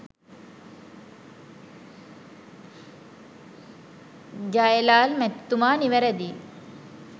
ජ්යලාල් මැතිතුමා නිවැරදියි